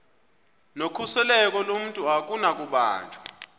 nokhuseleko lomntu akunakubanjwa